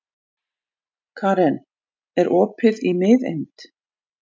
Karen, er opið í Miðeind?